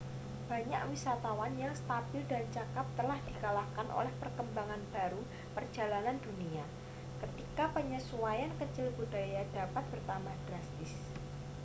banyak wisatawan yang stabil dan cakap telah dikalahkan oleh perkembangan baru perjalanan dunia ketika penyesuaian kecil budaya dapat bertambah drastis